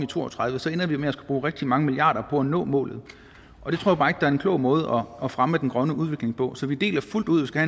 to og tredive så ender vi med at skulle bruge rigtig mange milliarder på at nå målet og det tror er en klog måde at fremme den grønne udvikling på så vi deler fuldt ud at